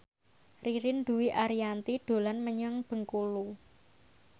Ririn Dwi Ariyanti dolan menyang Bengkulu